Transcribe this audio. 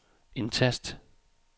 indtast